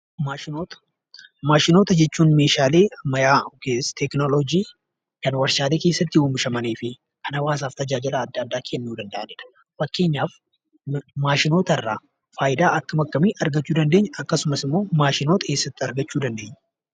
Maashinoota. Maashinoota jechuun meeshaalee ammayyaa yokiis teeknooloojii kan warshaalee keessatti oomishamanii fi kan hawaasaaf tajaajila adda addaa kennuu danda'anidha. Fakkeenyaaf maashinootarraa faayidaa akkam akkamii argachuu dandeenya? akkasumas immoo maashinoota eessatti argachuu dandeenya?